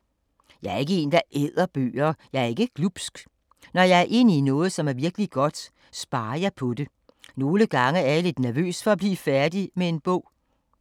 Jeg er ikke en, der æder bøger, jeg er ikke glubsk. Når jeg er inde i noget, som er virkelig godt, sparer jeg på det. Nogle gange er jeg lidt nervøs for at blive færdig med en bog.